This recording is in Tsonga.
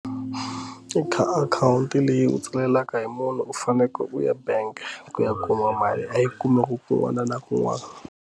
I kha akhawunti leyi u tsakelaka hi munhu u fanekele u ya bank ku ya kuma mali a yi kumeka kun'wana na kun'wana.